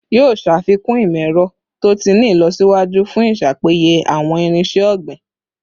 Yoo ṣafikun imọ-ẹrọ to ti ni ilọsiwaju fun iṣapeye awọn irinṣẹ ogbin